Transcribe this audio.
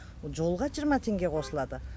жолға жиырма теңге қосылады